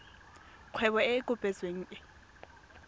kgwebo e e kopetsweng e